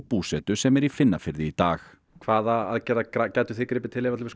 búsetu sem er í Finnafirði í dag hvaða aðgerða gætuð þið gripið til ef